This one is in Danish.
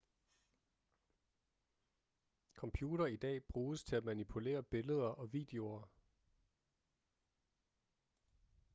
computere i dag bruges til at manipulere billeder og videoer